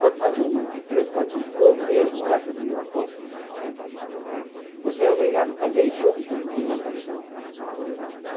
Quando faz uma de três e quatrocentos, ou mesmo essa de Viracopos né, você é obrigado a fazer juntas de dilatação em todas elas.